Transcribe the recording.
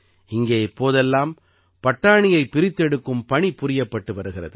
இங்கே இப்போதெல்லாம் பட்டாணியைப் பிரித்தெடுக்கும் பணி புரியப்பட்டு வருகிறது